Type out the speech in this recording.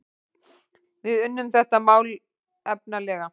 Við unnum þetta málefnalega